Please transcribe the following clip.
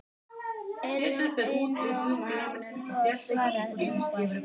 Einróma lof svarar Ingvar.